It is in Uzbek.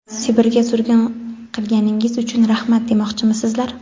Sibirga surgun qilganingiz uchun rahmat demoqchimisizlar?.